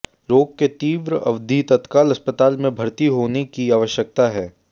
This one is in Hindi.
रोग के तीव्र अवधि तत्काल अस्पताल में भर्ती होने की आवश्यकता है